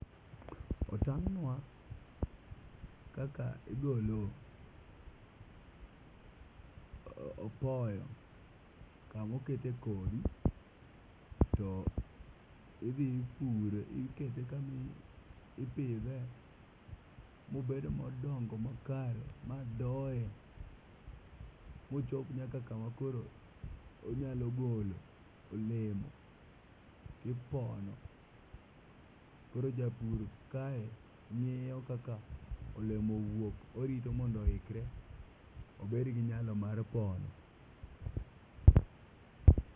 Otang'nwa kaka igolo apoyo kamoketo kodhi to idhi ipure ikete kamo ipidhe mobed modongo makare madoye mochop nyaka koro onyalo golo olemo tipono. Koro japur kaye ng'iyo kaka olemo owuok orito mondo oikre obed gi nyalo mar pono.